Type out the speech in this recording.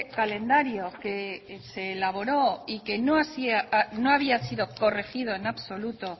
calendario que se elaboró y que no había sido corregido en absoluto